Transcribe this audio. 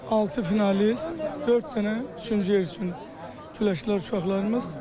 Altı finalist, dörd dənə üçüncü yer üçün güləşən uşaqlarımız.